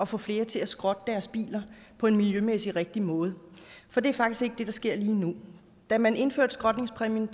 få flere til at skrotte deres bil på en miljømæssig rigtig måde for det er faktisk ikke det der sker lige nu da man indførte skrotningspræmien